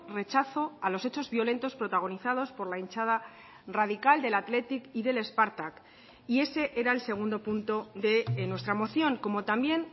rechazo a los hechos violentos protagonizados por la hinchada radical del athletic y del spartak y ese era el segundo punto de nuestra moción como también